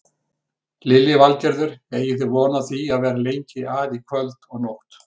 Lillý Valgerður: Eigið þið von á því að vera lengi að í kvöld og nótt?